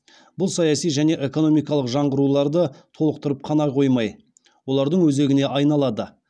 бұл саяси және экономикалық жаңғыруларды толықтырып қана қоймай олардың өзегіне айналады